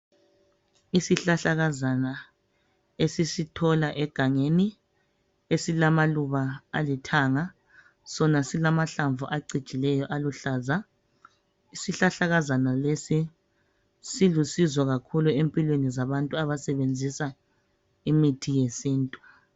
Isihlahlakazana esisithola egangeni esilamaluba alithanga. Sona silamahlamvu acijileyo aluhlaza. Isihlahlakazana lesi silusizo kakhulu empilweni zabantu abasebenzisa imithi yesintu.